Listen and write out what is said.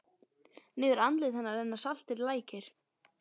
Niður andlit hennar renna saltir lækir.